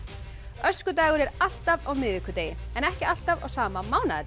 öskudagur er alltaf á miðvikudegi en ekki alltaf á sama